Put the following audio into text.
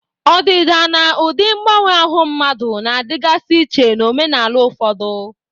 Ọdịda na ụdị mgbanwe ahụ mmadụ na-adịgasị iche n'omenala ụfọdụ.